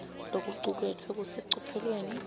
lokucuketfwe kusecophelweni